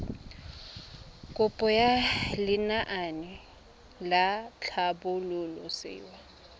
kopo ya lenaane la tlhabololosewa